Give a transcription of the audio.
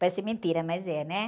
Parece mentira, mas é, né?